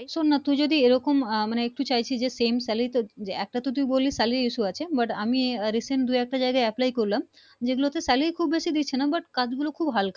শোন না তুই যদি এই রকম আহ মানে একটু চাইছি যে same salary একটা তো তুই বললি Salary issue আছে but আমি Recent দু একটা জায়গায় apply করলাম। যেঁগুলোতে Salary খুব বেশি দিচ্ছে না but কাজ গুলো খুব হাল্কা